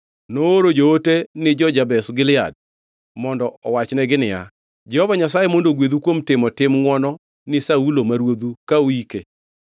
nooro joote ni jo-Jabesh Gilead mondo owachnegi niya, “Jehova Nyasaye mondo ogwedhu kuom timo tim ngʼwono ni Saulo ma ruodhu ka uike.